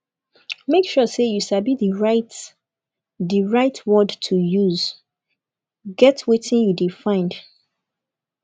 make sure say you sabi di right di right word to use get wetin you de find